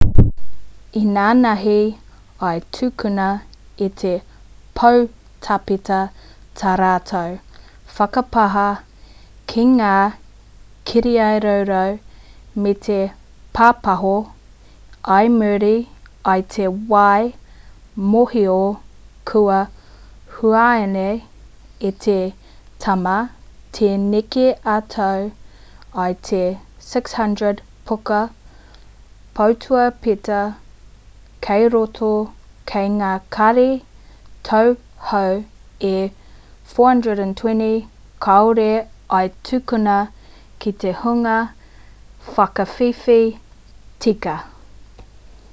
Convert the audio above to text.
inanahi i tukuna e te poutāpeta tā rātou whakapāha ki ngā kirirarau me te pāpaho i muri i te whai mōhio kua hunaia e te tama te neke atu i te 600 puka poutāpeta kei roto ko ngā kāri tau hou e 429 kāore i tukuna ki te hunga whakawhiwhi tika